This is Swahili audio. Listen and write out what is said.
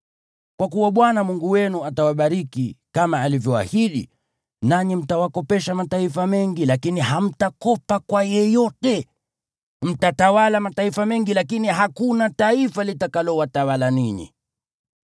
Kwa kuwa Bwana Mungu wenu atawabariki kama alivyoahidi, nanyi mtawakopesha mataifa mengi lakini hamtakopa kwa yeyote. Mtatawala mataifa mengi lakini hakuna taifa litakalowatawala ninyi.